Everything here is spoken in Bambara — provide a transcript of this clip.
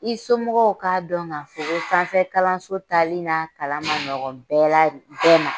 I somɔgɔw ka dɔn ka fɔ ko sanfɛ kalanso tali n'a kalan ma ɲɔgɔ bɛɛ la, bɛɛ ma.